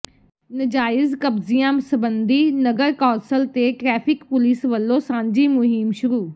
ਨਾਜਾਇਜ਼ ਕਬਜ਼ਿਆਂ ਸਬੰਧੀ ਨਗਰ ਕੌਾਸਲ ਤੇ ਟਰੈਫ਼ਿਕ ਪੁਲਿਸ ਵੱਲੋਂ ਸਾਂਝੀ ਮੁਹਿੰਮ ਸ਼ੁਰੂ